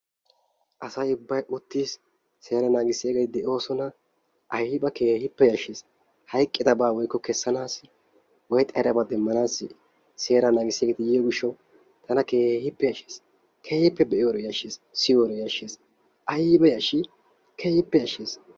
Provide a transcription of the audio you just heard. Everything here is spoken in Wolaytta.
Asay ubbay uttis. seera nangissiyageeti de'oosona. Ayiba keehippe yashshes. Hayiqqidabaa woykko kessanaassi, woy xayidabaa demmanaassi, seera naagisiyageeti yiyoo gishshaw tana keehippe yashshes. Keehippe be'iyoode yashshes. Siyiyode yashshes. Ayiba yashshii keehippe yashshes.